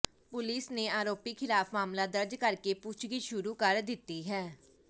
police ਨੇ ਆਰੋਪੀ ਖ਼ਿਲਾਫ ਮਾਮਲਾ ਦਰਜ਼ ਕਰ ਕੇ ਪੁੱਛਗਿਛ ਸ਼ੁਰੂ ਕਰ ਦਿੱਤੀ ਹੈ